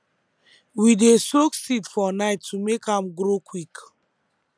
we dey soak seed for night to make am grow quick